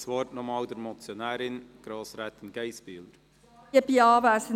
Ich gebe nochmals der Motionärin, Grossrätin Geissbühler, das Wort.